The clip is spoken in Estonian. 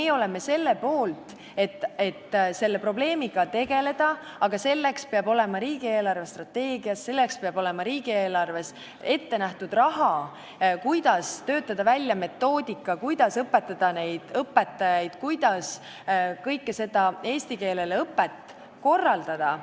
Meie oleme selle poolt, et selle probleemiga tegeleda, aga selleks peab olema riigi eelarvestrateegia, selleks peab olema riigieelarves ette nähtud raha, et töötada välja metoodika, õpetada õpetajaid ja kogu eesti keele õpet korraldada.